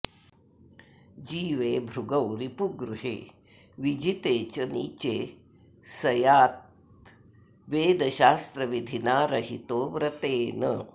जीवे भृगौ रिपुगृहे विजिते च नीचे स्याद्वेदशास्त्रविधिना रहितो व्रतेन